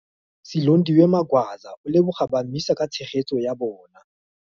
Silondiwe Magwaza o leboga ba MISA ka tshegetso ya bona.